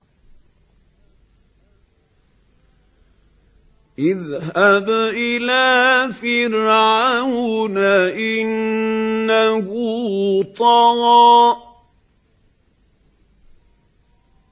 اذْهَبْ إِلَىٰ فِرْعَوْنَ إِنَّهُ طَغَىٰ